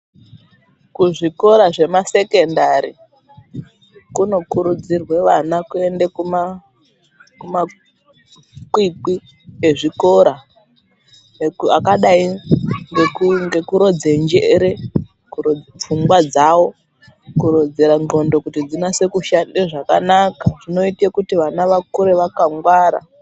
Kuzvikora zvemasekendari kunokurudzirwe vana kuenda kumakwikwi ezvikora akadai ngekurodze njere, kurodze pfungwa dzawo kurodzera ndxondo kuti dzinase kushanda zvakanaka. Zvinoita kuti vana vakure vakangwara.